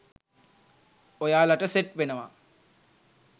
ඔයාලට සෙට් වෙනවා.